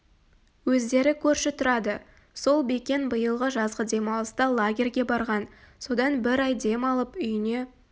өздері көрші тұрады сол бекен биылғы жазғы демалыста лагерьге барған содан бір ай дем алып үйіне